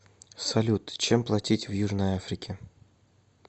салют чем платить в южной африке